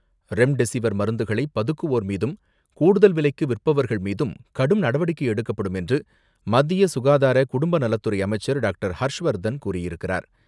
Remdesivir மருந்துகளை பதுக்குவோர் மீதும், கூடுதல் விலைக்கு விற்பவர்கள் மீதும் கடும் நடவடிக்கை எடுக்கப்படும் என்று, மத்திய சுகாதார குடும்பநலத்துறை அமைச்சர் டாக்டர்.ஹர்ஷ்வர்தன் கூறியிருக்கிறார்.